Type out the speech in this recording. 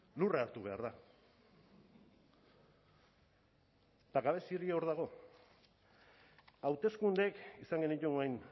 lurra hartu behar da eta gabezia hori hor dago hauteskundeak izan genituen